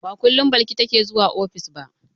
Ba kullum Balki take zuwa ofis ba.